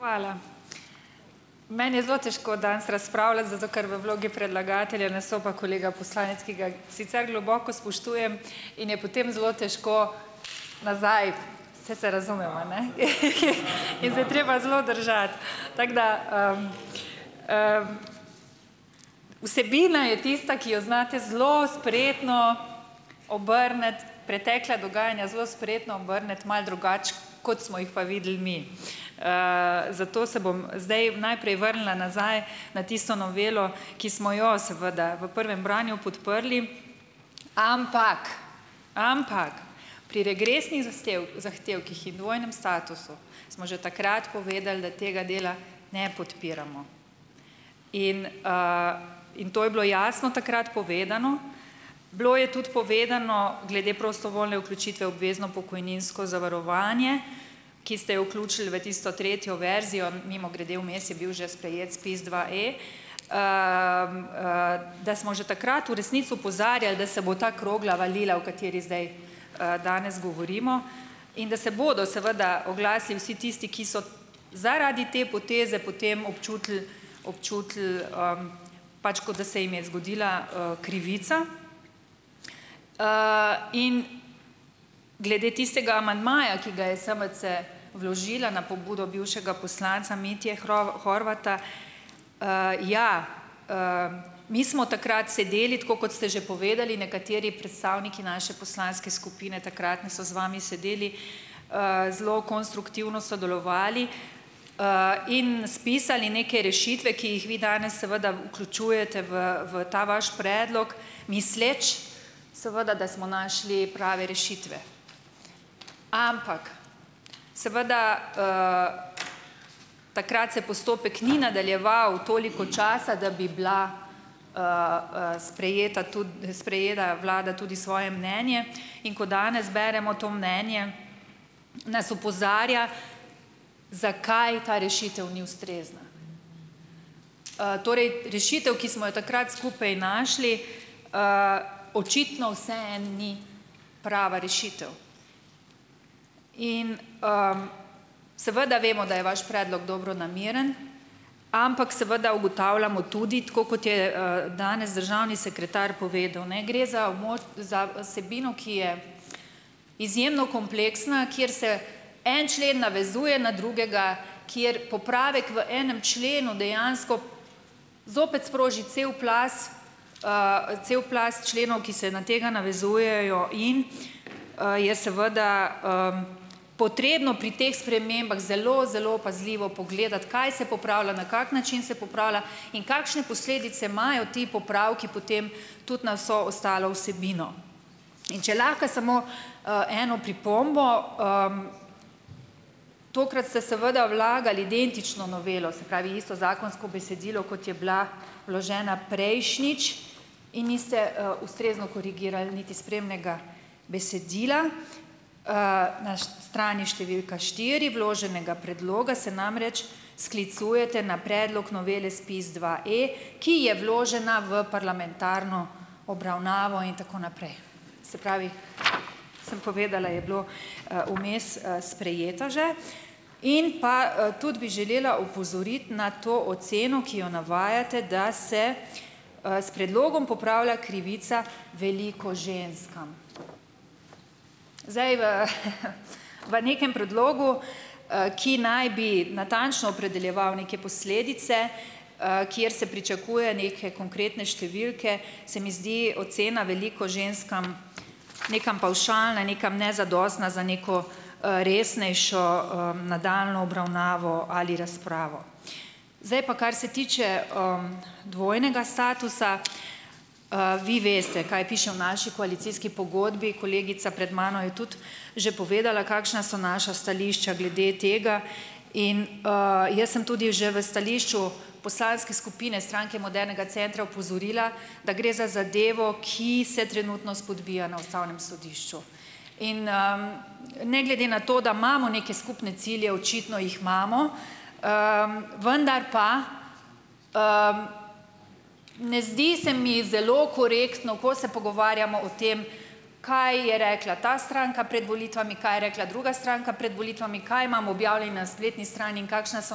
Hvala. Meni je zelo težko danes razpravljati, zato ker v vlogi predlagatelja nastopa kolega poslanec, ki ga sicer globoko spoštujem in je potem zelo težko nazaj, saj se razumeva, in se je treba zelo držati. Tako da, vsebina je tista, ki jo znate zelo spretno obrniti, pretekla dogajanja zelo spretno obrniti, malo drugače, kot smo jih pa videli mi. Zato se bom zdaj najprej vrnila nazaj na tisto novelo, ki smo jo seveda v prvem branju podprli, ampak ampak pri regresnih zahtevkih in dvojnem statusu smo že takrat povedali, da tega dela ne podpiramo in, in to je bilo jasno takrat povedano. Bilo je tudi povedano glede prostovoljne vključitve v obvezno pokojninsko zavarovanje, ki ste jo vključili v tisto tretjo verzijo, mimogrede, vmes je bil že sprejet SPIZ dva-E, da smo že takrat v resnici opozarjali, da se bo ta krogla valila, o kateri zdaj, danes govorimo, in da se bodo seveda oglasili vsi tisti, ki so zaradi te poteze potem občutili, občutili, pač, kot da se jim je zgodila, krivica, in glede tistega amandmaja, ki ga je SMC vložila na pobudo bivšega poslanca Mitje Horvata, ja, mi smo takrat sedeli, tako kot ste že povedali, nekateri predstavniki naše poslanske skupine takratne so z vami sedeli, zelo konstruktivno sodelovali, in spisali neke rešitve, ki jih vi danes seveda vključujete v v ta vaš predlog, misleč seveda, da smo našli prave rešitve. Ampak seveda, takrat se postopek ni nadaljeval toliko časa, da bi bila, sprejeta tudi sprejela vlada tudi svoje mnenje, in ko danes beremo to mnenje, nas opozarja, zakaj ta rešitev ni ustrezna. Torej, rešitev ki smo jo takrat skupaj našli, očitno vseeno ni prava rešitev. In, seveda vemo, da je vaš predlog dobronameren, ampak seveda ugotavljamo tudi, tako kot je, danes državni sekretar povedal, gre za za vsebino, ki je izjemno kompleksna, kjer se en člen navezuje na drugega, kjer popravek v enem členu dejansko zopet sproži cel plaz, cel plaz členov, ki se na tega navezujejo in, je seveda, potrebno pri teh spremembah zelo zelo pazljivo pogledati, kaj se popravlja, na kak način se popravlja in kakšne posledice imajo ti popravki potem tudi na vso ostalo vsebino. In če lahko samo, eno pripombo, Tokrat ste seveda vlagali identično novelo, se pravi, isto zakonsko besedilo, kot je bila vložena prejšnjič, in niste, ustrezno korigirali, niti spremnega besedila. Na strani številka štiri vloženega predloga se namreč sklicujete na predlog novele SPIZ dva-E, ki je vložena v parlamentarno obravnavo, in tako naprej. Se pravi, sem povedala, je bila, vmes, sprejeta že. In pa, tudi bi želela opozoriti na to oceno, ki jo navajate, da se, s predlogom popravlja krivica veliko ženskam. Zdaj v, v nekem predlogu, ki naj bi natančno opredeljeval neke posledice, kjer se pričakuje neke konkretne številke, se mi zdi ocena "veliko ženskam" nekam pavšalna, nekam nezadostna za neko, resnejšo, nadaljnjo obravnavo ali razpravo. Zdaj pa, kar se tiče, dvojnega statusa. Vi veste, kaj piše v naši koalicijski pogodbi. Kolegica pred mano je tudi že povedala, kakšna so naša stališča glede tega. In, jaz sem tudi že v stališču poslanske skupine Stranke modernega centra opozorila, da gre za zadevo, ki se trenutno spodbija na ustavnem sodišču. In, ne glede na to, da imamo neke skupne cilje, očitno jih imamo, vendar pa ne zdi se mi zelo korektno, ko se pogovarjamo o tem, kaj je rekla ta stranka pred volitvami, kaj je rekla druga stranka pred volitvami, kaj imamo objavljeno na spletni strani in kakšna so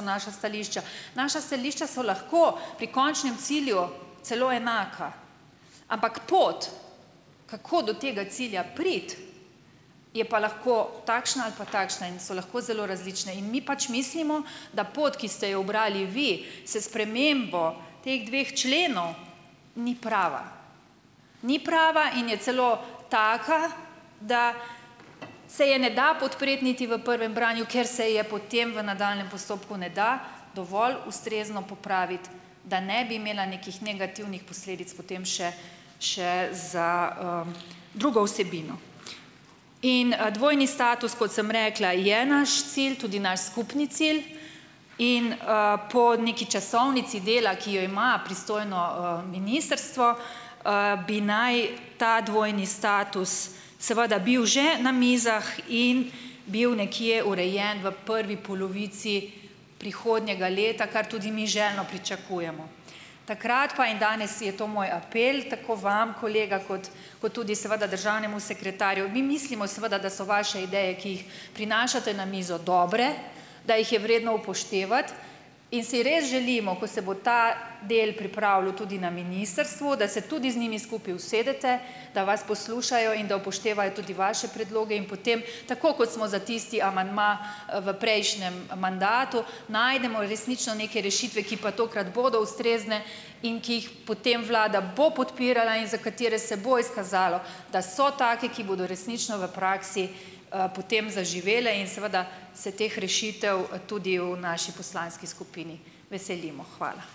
naša stališča. Naša stališča so lahko pri končnem cilju celo enaka, ampak pot, kako do tega cilja priti, je pa lahko takšna ali pa takšna in so lahko zelo različne. In mi pač mislimo, da pot, ki ste jo ubrali vi s spremembo teh dveh členov, ni prava. Ni prava in je celo taka, da se je ne da podpreti niti v prvem branju, ker se je potem v nadaljnjem postopku ne da dovolj ustrezno popraviti, da ne bi imela nekih negativnih posledic potem še še za, drugo vsebino. In, dvojni status, kot sem rekla, je naš cilj, tudi naš skupni cilj. In, po neki časovnici dela, ki jo ima pristojno, ministrstvo, bi naj ta dvojni status seveda bil že na mizah in bil nekje urejen v prvi polovici prihodnjega leta, kar tudi mi željno pričakujemo. Takrat pa in danes je to moj apel tako vam kolega kot kot tudi seveda državnemu sekretarju, mi mislimo, seveda, da so vaše ideje, ki jih prinašate na mizo, dobre, da jih je vredno upoštevati, in si res želimo, ko se bo ta del pripravljal tudi na ministrstvu, da se tudi z njimi skupaj usedete, da vas poslušajo in da upoštevajo tudi vaše predloge in potem, tako kot smo za tisti amandma v prejšnjem mandatu, najdemo resnično neke rešitve, ki pa tokrat bodo ustrezne in ki jih potem vlada bo podpirala in za katere se bo izkazalo, da so take, ki bodo resnično v praksi, potem zaživele in seveda se teh rešitev tudi v naši poslanski skupini veselimo. Hvala.